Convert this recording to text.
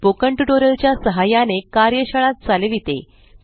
spoken tutorial च्या सहाय्याने कार्यशाळा चालविते